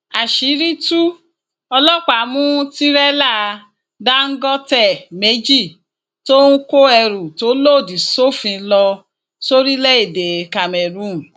àṣírí tú ọlọpàá mú tìrẹlà dáńgọtẹ méjì tó ń kó ẹrù tó lòdì sófin lọ sórílẹèdè cameroon